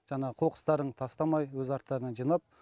жаңағы қоқыстарын тастамай өз арттарынан жинап